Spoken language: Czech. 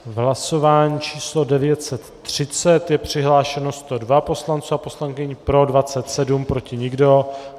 V hlasování číslo 930 je přihlášeno 102 poslanců a poslankyň, pro 27, proti nikdo.